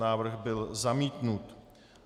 Návrh byl zamítnut.